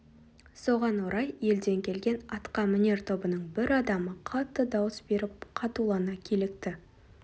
соған орай елден келген атқамінер тобының бір адамы қатты дауыс беріп қатулана килікті